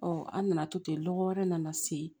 an nana to ten lɔgɔ wɛrɛ nana se